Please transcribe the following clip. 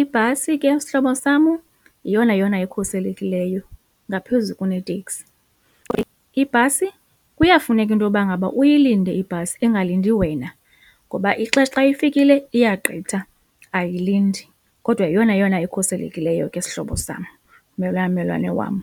ibhasi ke sihlobo sam, yeyona yona ikhuselekileyo ngaphezu kuneteksi. Ibhasi kuyafuneka intoba ngaba uyilinde ibhasi ingalindi wena ngoba ixesha xa ifikile iya gqitha ayilindi kodwa yeyona yona ikhuselekileyo ke sihlobo sam mmelwane wam.